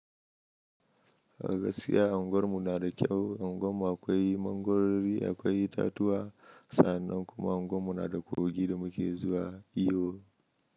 A gaskiya anguwar mu na da kyau. Anguwan mu akwai mangwarori, akwai itatuwa sannan kuma unguwar mu na da kogi da muke zuwa iyo.